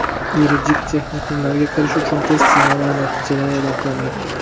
Yuridik texnikumlarga kirish uchun test sinovlari natijalari eʼlon qilindi.